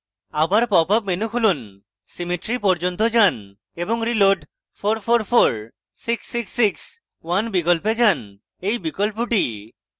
আবার popup menu খুলুন symmetry পর্যন্ত যান এবং reload {4 4 4 6 6 6 1} বিকল্পে টিপুন